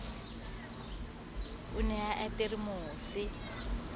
o ne a apere mose